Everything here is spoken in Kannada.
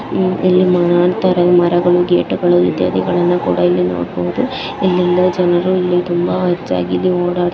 ಇಲ್ಲಿ ಕಾಣ್ತಾಇದಾವೆ ಮರಗಳು ಗೇಟ್ ಇತ್ಯಾದಿಗಳನ್ನು ಕೂಡ ಇಲ್ಲಿ ನೋಡಬಹುದು ಇಲ್ಲಿ ವಿಲ್ಲೇಜ್ ಜನರು ತುಂಬ ಹೆಚ್ಚಾಗಿ ಹೋ --